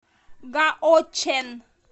гаочэн